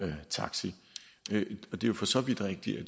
taxi det er jo for så vidt rigtigt at